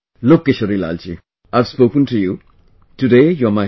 Look Kishorilal ji, I have spoken to you, today you are my friend